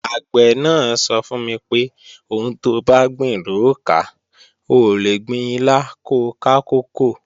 Àgbẹ̀ náà sọ fún mi pé, "Ohun tobá gbìn lò ó ká, o ò lè gbin ilá ko ká kókò"